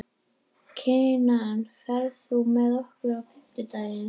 Kinan, ferð þú með okkur á fimmtudaginn?